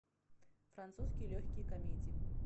французские легкие комедии